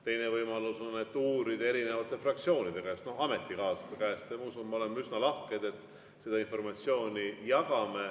Teine võimalus on uurida erinevate fraktsioonide käest, ametikaaslaste käest ja ma usun, et me oleme üsna lahked seda informatsiooni jagama.